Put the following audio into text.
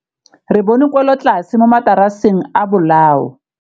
Re bone wêlôtlasê mo mataraseng a bolaô.